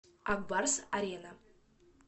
ак барс арена